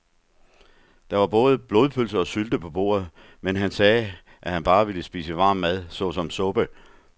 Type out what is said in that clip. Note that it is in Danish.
Der var både blodpølse og sylte på bordet, men han sagde, at han bare ville spise varm mad såsom suppe.